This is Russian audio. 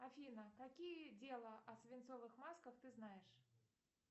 афина какие дела о свинцовых масках ты знаешь